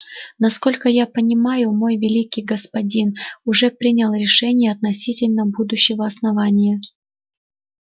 насколько я понимаю мой великий господин уже принял решение относительно будущего основания